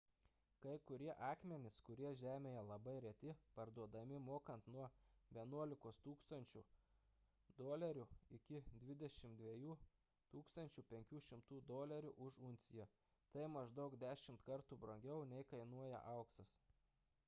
kai kurie akmenys kurie žemėje labai reti parduodami mokant nuo 11 000 usd iki 22 500 usd už unciją tai maždaug dešimt kartų brangiau nei kainuoja auksas